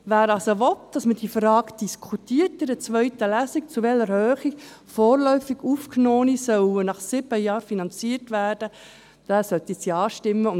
Wer also will, dass man in der zweiten Lesung die Frage diskutiert, in welcher Höhe vorläufig Aufgenommene nach sieben Jahren finanziert werden, soll Ja stimmen.